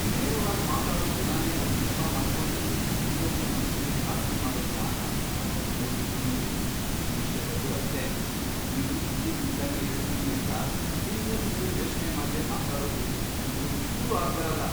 ನೇರವಾಗ್ ಮಾತಾಡೋ ಗುಣನೇ ಒಂದ್ ನೆಪ ಮಾಡ್ಕೊಂಡು ಇನ್ನೊಬ್ರ್ ಮನ್ಸಿಗೆ ಘಾಸಿ ಮಾಡೋದ್ನ ನಾನ್ ಸಾಕಷ್ಟ್ ನೋಡ್ಬಿಟಿದೀನಿ, ನಿಮ್ ವಿಷ್ಯದಲ್ಲೂ ಅಷ್ಟೇ.. ನೀವು ಇದ್ದಿದ್ ಇದ್ದಂಗೆ ಹೇಳ್ತೀನಿ ಅಂತ ಹಿಂದುಮುಂದು ಯೋಚ್ನೆ ಮಾಡ್ದೇ ಮಾತಾಡೋದು ನಂಗೊಂಚೂರೂ ಆಗ್ಬರಲ್ಲ.